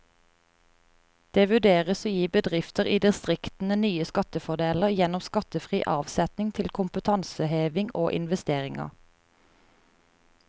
Det vurderes å gi bedrifter i distriktene nye skattefordeler gjennom skattefri avsetning til kompetanseheving og investeringer.